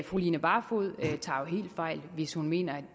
fru line barfod tager helt fejl hvis hun mener at